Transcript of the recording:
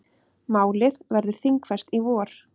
Málið verður þingfest í vor.